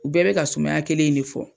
U bɛɛ bɛ ka sumaya kelen in de fɔ.